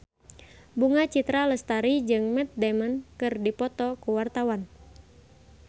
Bunga Citra Lestari jeung Matt Damon keur dipoto ku wartawan